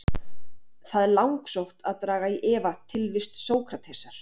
Það er langsótt að draga í efa tilvist Sókratesar.